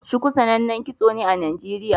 Shuku sanannen kitso ne a Nijeriya.